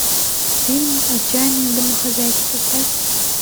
фильм отчаянные домохозяйки поставь